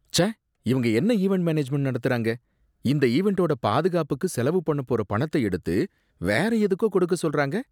ச்சே! இவங்க என்ன ஈவண்ட் மேனேஜ்மெண்ட் நடத்துறாங்க, இந்த ஈவண்டோட பாதுகாப்புக்கு செலவு பண்ணப்போற பணத்த எடுத்து வேற எதுக்கோ கொடுக்க சொல்றாங்க